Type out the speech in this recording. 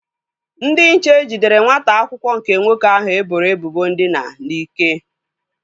Ndị nche jidere nwata akwụkwọ nke nwoke ahụ e boro ebubo ndina n'ike